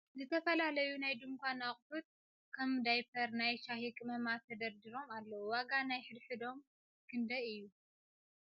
ዝተፈላለዩ ናይ ድንካን እቁሕት ከም ዳይፐር ፣ ናይ ሻሂ ቅመማት ተደርዲሮም ኣለዉ ። ዋጋ ናይ ሕድ ሕዶም ክደይ እዩ ?